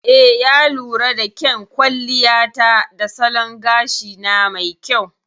Eh, ya lura da kyan kwalliya ta da salon gashina mai kyau.